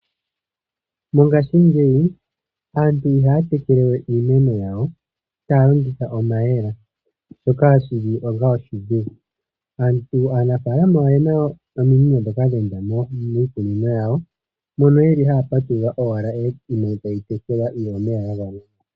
Mongaashingeyi aantu ihaya tekele we iimeno yawo taya longitha omayemele ,shoka shili onga oshidhigu. Aanafaalama oyena omino ndhoka dha enda miikunino yawo mono yeli haya patulula owala iimeno etayi tekelwa omeya gagwana.